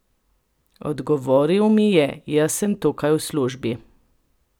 Odgovoril mi je: "Jaz sem tukaj v službi.